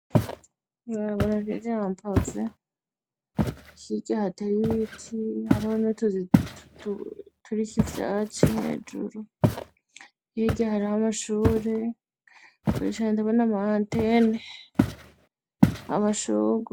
Ibarabara riri hambavu, hirya hateye ibiti hariho n'utuzu turiko ivyatsi hejuru, hirya hariho amashure, kure cane ndabona ama antene n'amashurwe.